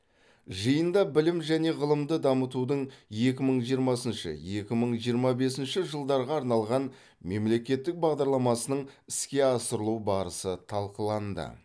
жиында білім және ғылымды дамытудың екі мың жиырмасыншы екі мың жиырма бесінші жылдарға арналған мемлекеттік бағдарламасының іске асырылу барысы талқыланды